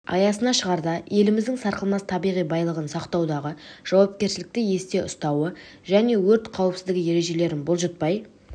аясына шығарда еліміздің сарқылмас табиғи байлығын сақтаудағы жауапкершілікті есте ұстауы және өрт қауіпсіздігі ережелерін бұлжытпай